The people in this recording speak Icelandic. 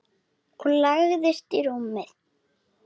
Og lagðist í rúmið.